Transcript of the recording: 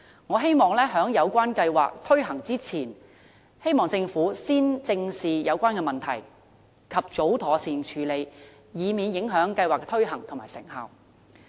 我希望政府在計劃推行之前，先正視有關問題，及早妥善處理，以免影響計劃的推行和成效。